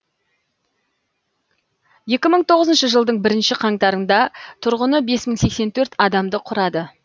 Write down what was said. екі мың тоғызыншы жылдың бірінші қаңтарында тұрғыны бес мың сексен төрт адамды құрады